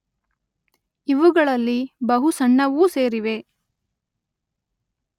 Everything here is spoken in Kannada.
ಇವುಗಳಲ್ಲಿ ಬಹು ಸಣ್ಣವೂ ಸೇರಿವೆ.